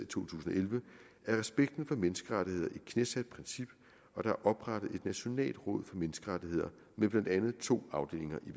tusind og elleve er respekten for menneskerettigheder et knæsat princip og der er oprettet et nationalt råd menneskerettigheder med blandt andet to afdelinger i